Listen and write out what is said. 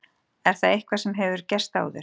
Er það eitthvað sem hefur gerst áður?